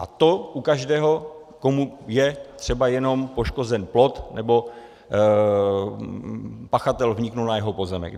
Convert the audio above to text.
A to u každého, komu je třeba jenom poškozen plot nebo pachatel vnikl na jeho pozemek.